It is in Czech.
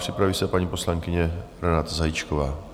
Připraví se paní poslankyně Renáta Zajíčková.